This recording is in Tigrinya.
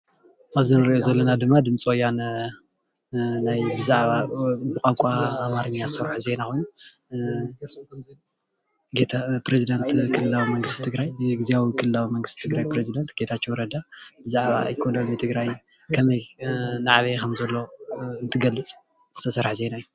ኣብዚ እንሪኦ ዘለና ድማ ድምፂ ወያነ ብዛዕባ ብቋንቋ ኣማርኛ ዝሰርሕ ዜና ፕረዚዳንት ግዝያዊ ክልላዊ መንግስቲ ትግራይ ጌታቸው ረዳ ብዛዕባ ህልዊ ትግራይ ከመይ ከም ዝዓብይ ከም ዘሎ እንትገልፅ ዝተሰርሐ ዜና እዩ፡፡